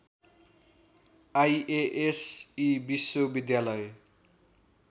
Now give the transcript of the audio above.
IASE विश्वविद्यालय